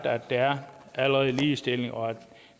at der allerede er ligestilling og at